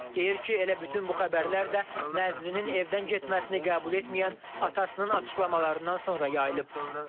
Deyir ki, elə bütün bu xəbərlər də Nəzrinin evdən getməsini qəbul etməyən atasının açıqlamalarından sonra yayılıb.